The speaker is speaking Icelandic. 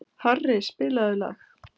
Harri, spilaðu lag.